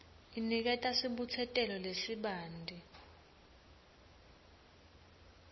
iniketa sibutsetelo lesibanti